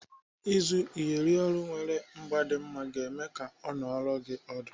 Ịzụ Iyeri olu nwere ịgba dị mma ga-eme ka ọ nọrọ gị ọdụ.